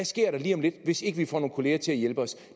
sker lige om lidt hvis ikke de får nogle kollegaer til at hjælpe